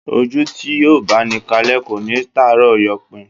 Ojú tí yóò bá ni kalẹ́ kò ní tàárọ̀ yọpin